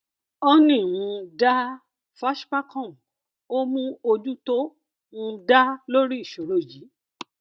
honey um dá fashpacom ó mú ojú tó um dá lórí ìṣòro yìí